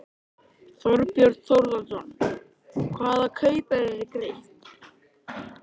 Þorbjörn Þórðarson: Hvaða kaupverð er greitt?